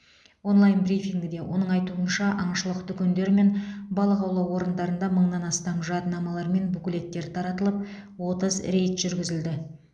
онлайн брифингіде оның айтуынша аңшылық дүкендер мен балық аулау орындарында мыңнан астам жадынамалар мен буклеттер таратылып отыз рейд жүргізілді